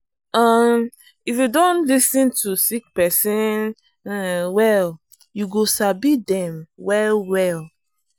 um if you don lis ten to sick persin um well you go sabi dem well well.